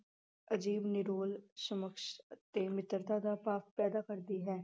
ਅਜੀਵ ਨਿਰੋਲ ਸਮਕਸ਼ ਤੇ ਮਿੱਤਰਤਾ ਦਾ ਭਾਵ ਪੈਦਾ ਕਰਦੀ ਹੈ।